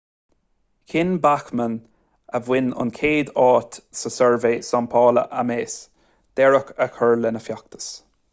chinn bachmann a bhain an chéad áit amach sa suirbhé samplála ames deireadh a chur lena feachtas